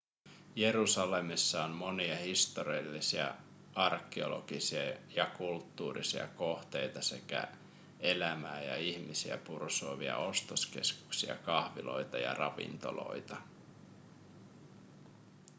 jerusalemissa on monia historiallisia arkeologisia ja kulttuurillisia kohteita sekä elämää ja ihmisiä pursuavia ostoskeskuksia kahviloita ja ravintoloita